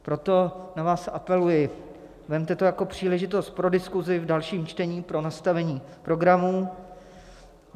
Proto na vás apeluji: vezměte to jako příležitost pro diskuzi v dalším čtení, pro nastavení programů.